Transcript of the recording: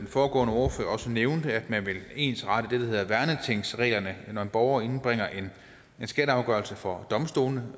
foregående ordfører også nævnte at man vil ensrette det der hedder værnetingsreglerne når en borger indbringer en skatteafgørelse for domstolene